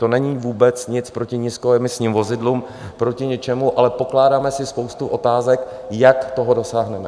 To není vůbec nic proti nízkoemisním vozidlům, proti ničemu, ale pokládáme si spoustu otázek, jak toho dosáhneme.